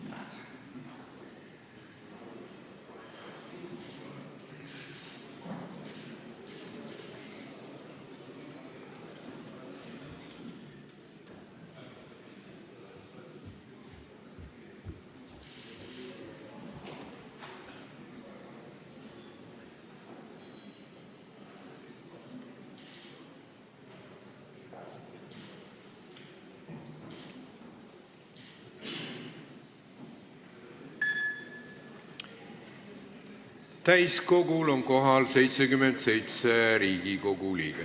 Kohaloleku kontroll Täiskogul on kohal 77 Riigikogu liiget.